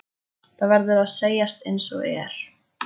Það verður að segjast einsog er.